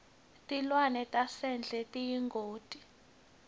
tilwane tasendle tiyingoti